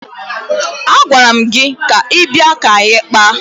Agwara m gị bịa ka anyị kpaa!